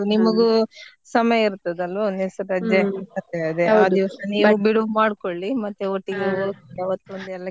ನಿಮಗು ಸಮಯ ಇರ್ತದೆ ಅಲ್ವ ರಜೆ ಮತ್ತೆ ಆ ದಿವಸ ನೀವು ಬಿಡುವು ಮಾಡ್ಕೊಳ್ಳಿ ಮತ್ತೆ ಒಟ್ಟಿಗೆ ಹೋಗುವ ಅವತ್ತಿನ ಎಲ್ಲ ಕೆಲಸ ಮಾಡ್ಕೊಂಡ .